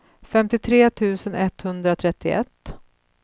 femtiotre tusen etthundratrettioett